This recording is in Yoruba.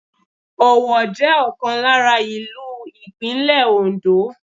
Owo jẹ́ ọ̀kan lára ìlú Ìpínlẹ̀ Òndó.